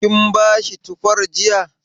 Kin bashi tufar jiya?